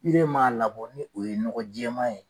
m'a labɔ ni o ye nɔgɔ jɛma ye.